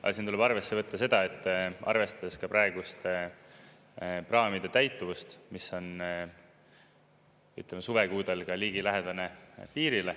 Aga siin tuleb arvesse võtta seda, et arvestades praegust praamide täituvust, mis on suvekuudel ligilähedane piirile.